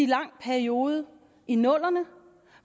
lang periode i nullerne